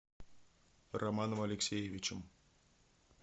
романом алексеевичем